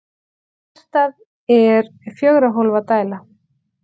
Hjartað er fjögurra hólfa dæla.